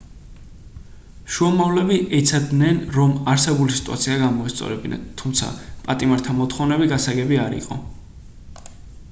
შუამავლები ეცადნენ რომ არსებული სიტუაცია გამოესწორებინათ თუმცა პატიმართა მოთხოვნები გასაგები არ იყო